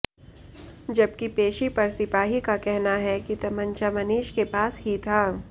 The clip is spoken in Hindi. जबकि पेशी पर सिपाही का कहना है कि तमंचा मनीष के पास ही था